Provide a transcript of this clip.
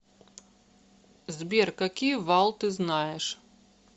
сбер какие вал ты знаешь